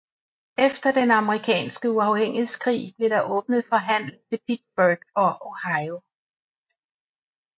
Efter den amerikanske uafhængighedskrig blev der åbnet for handel til Pittsburgh og Ohio